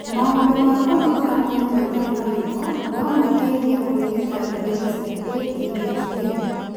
maũndũ ma kugora mwĩrĩ matarĩ maritũ no mateithie kũrigita ndariri cia ADHD